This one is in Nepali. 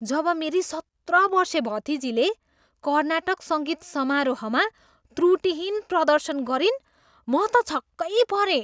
जब मेरी सत्र बर्से भतिजीले कर्नाटक सङ्गीत समारोहमा त्रुटिहीन प्रदर्शन गरिन्, म त छक्कै परेँ।